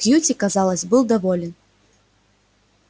кьюти казалось был доволен